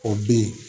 O bin